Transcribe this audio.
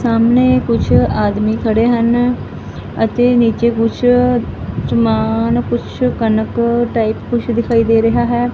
ਸਾਹਮਣੇ ਕੁਝ ਆਦਮੀ ਖੜੇ ਹਨ ਅਤੇ ਨੀਚੇ ਕੁਛ ਸਮਾਨ ਕੁਛ ਕਨਕ ਟਾਈਪ ਕੁਛ ਦਿਖਾਈ ਦੇ ਰਿਹਾ ਹੈ।